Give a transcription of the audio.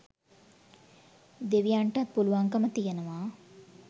දෙවියන්ටත් පුළුවන්කම තියෙනවා